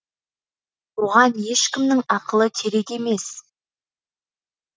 оған ешкімнің ақылы керек емес